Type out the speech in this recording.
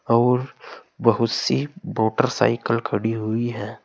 और बहुत सी मोटरसाइकिल खड़ी हुई है।